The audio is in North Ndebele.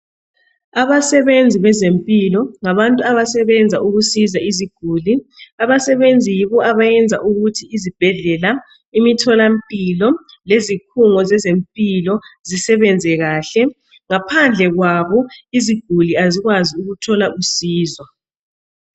Abasebenzi bezempilakahle ngabantu abasebenza ukusiza izigulane. Abasebenzi yibo abayenza ukuthi izibhedlela, imitholampilo leziphungo zezempilo zisebenze kahle, ngaphandle kwabo iziguli azikwazi ukuthola usizo.